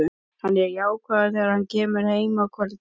Hann er jákvæður þegar hann kemur heim á kvöldin.